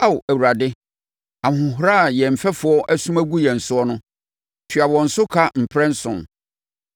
Ao Awurade, ahohora a yɛn mfɛfoɔ asum agu wo soɔ no, tua wɔn so ka mprɛnson.